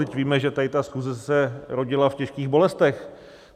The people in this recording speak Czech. Vždyť víme, že tady ta schůze se rodila v těžkých bolestech.